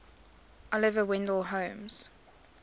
oliver wendell holmes